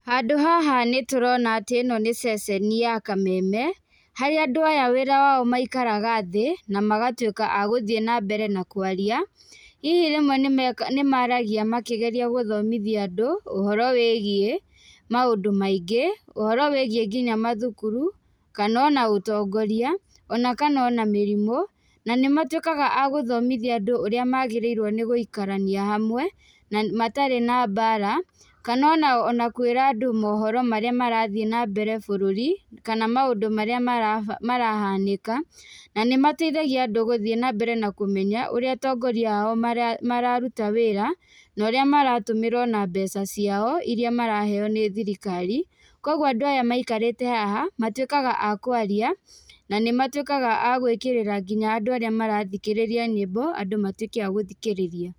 Handũ haha nĩ tũrona atĩ ĩno nĩ cecenĩ ya kameme harĩa andũ aya wĩra wao maĩkaraga thĩ na magatuĩka agũthiĩ nambere na kwaria, hihi rĩmwe nĩ maragia makĩgeria gũthomithia andũ ũhoro wĩgie maũndũ maingĩ, ũhoro wĩgie ngina mathukuru kana ona ũtongoria ona kana ona mĩrimũ, na nĩ matuĩkaga a gũthomithia andũ ũrĩa magĩrĩirwo nĩ gũĩkarania hamwe na matarĩ na mbara kana ona kwĩra andũ mũhoro marĩa marathĩĩ nambere bũrũri, kana maũndũ marĩa marahanĩka na nĩ mateithagia andũ gũthiĩ nambere na kũmenya ũrĩa atongoria ao mararuta wĩra na ũrĩa maratũmĩra ona mbeca ciao ĩria maraheyo nĩ thirikari. Koguo andũ aya maikarĩte haha matuĩkaga a kwaria na nĩ matuĩkaga a gwĩkĩrĩra ngina andũ arĩa marathikĩrĩria nyĩmbo andũ matuĩke agũthikĩrĩria.